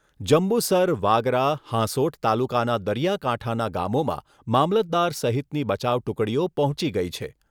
જંબુસર વાગરા, હાંસોટ તાલુકાના દરિયાકાંઠાના ગામોમાં મામલતદાર સહિતની બચાવ ટુકડીઓ પહોંચી ગઈ છે.